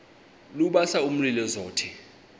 lubasa umlilo zothe